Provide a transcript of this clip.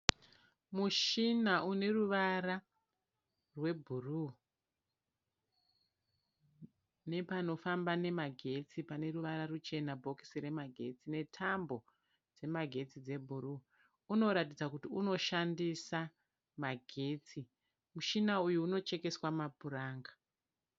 Mushina une ruvara rwebhuruu nepanofamba nemagetsi pane ruvara ruchena bhokisi remagetsi netambo dzemagetsi dzebhuruu unoratidza kuti unoshandisa magetsi mushina uyu unochekeswa mapuranga.